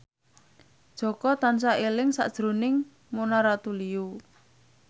Jaka tansah eling sakjroning Mona Ratuliu